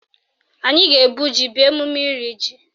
Anyị ga-ebu ji bịa emume iri ji